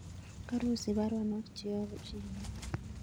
Karosich baronok cheyobu Chebet